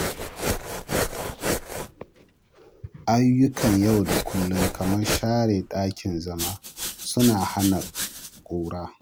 Ayyukan yau da kullum kamar share ɗakin zama suna hana ƙura.